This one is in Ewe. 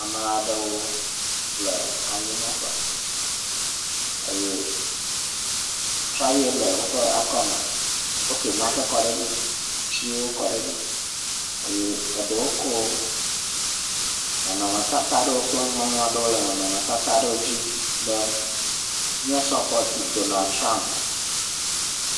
Ame aɖewo le anyi nɔƒe eye traye le woƒe akɔme. Wofli nake kɔ ɖe edzi, atiwo kɔ ɖe edzi eye eɖewo kɔ nɔnɔme tata aɖe kple nuŋɔŋlɔ ɖewo le nɔnɔme tata aɖewo dzi be mia suppɔt Donald Trump,